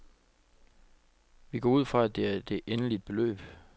Vi går ud fra, at det er det endelig beløb.